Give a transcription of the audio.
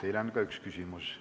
Teile on ka üks küsimus.